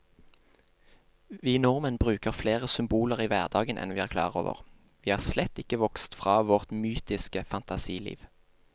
Vi nordmenn bruker flere symboler i hverdagen enn vi er klar over, vi er slett ikke vokst fra vårt mytiske fantasiliv.